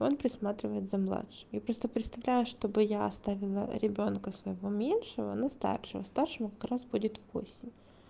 он присматривает за младшим я просто представляю чтобы я оставила ребёнка своего меньшего на старшего старшему как раз будет восемь